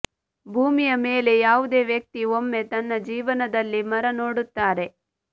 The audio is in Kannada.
ಭೂಮಿಯ ಮೇಲೆ ಯಾವುದೇ ವ್ಯಕ್ತಿ ಒಮ್ಮೆ ನನ್ನ ಜೀವನದಲ್ಲಿ ಮರ ನೋಡುತ್ತಾರೆ